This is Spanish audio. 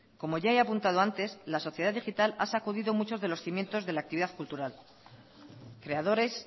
como ya he apuntado antes la sociedad digital ha sacudido muchos de los cimientos de la actividad cultural creadores